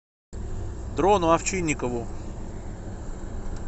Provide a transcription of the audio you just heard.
дрону овчинникову